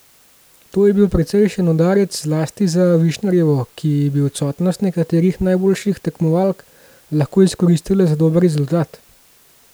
To je bil precejšen udarec zlasti za Višnarjevo, ki bi odsotnost nekaterih najboljših tekmovak lahko izkoristila za dober rezultat.